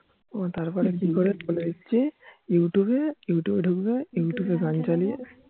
তারপরে কি করবে বলে দিচ্ছি youtube এ youtube ঢুকবে youtube গান চালিয়ে